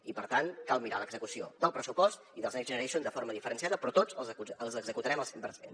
i per tant cal mirar l’execució del pressupost i dels next generation de forma diferenciada però tots els executarem al cent per cent